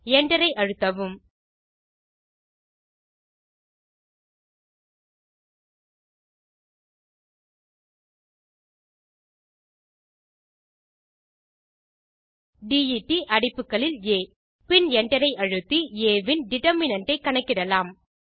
Enter ஐ அழுத்தவும் det அடைப்புகளில் ஆ பின் Enter ஐ அழுத்தி ஆ ன் டிட்டர்மினன்ட் ஐ கணக்கிடலாம்